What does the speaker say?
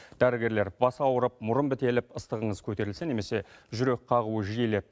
дәрігерлер бас ауырып мұрын бітеліп ыстығыңыз көтерілсе немесе жүрек қағуы жиілеп